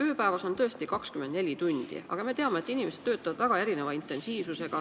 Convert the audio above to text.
Ööpäevas on tõesti 24 tundi, aga me teame, et inimesed töötavad väga erineva intensiivsusega.